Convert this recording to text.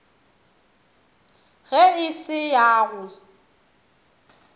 ge e se ya go